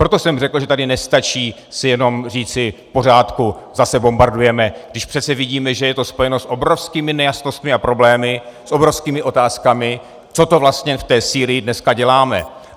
Proto jsem řekl, že tady nestačí si jenom říci "v pořádku, zase bombardujeme", když přece vidíme, že je to spojeno s obrovskými nejasnostmi a problémy, s obrovskými otázkami, co to vlastně v té Sýrii dneska děláme.